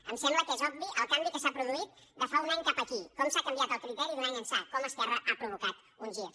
em sembla que és obvi el canvi que s’ha produït de fa un any cap aquí com s’ha canviat el criteri d’un any ençà com esquerra ha provocat un gir